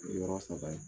Yɔrɔ saba ye